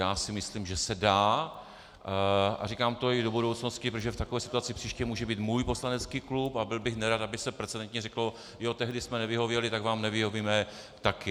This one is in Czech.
Já si myslím, že se dá, a říkám to i do budoucnosti, protože v takové situaci příště může být můj poslanecký klub a byl bych nerad, aby se precedentně řeklo jo, tehdy jste nevyhověli, tak vám nevyhovíme také.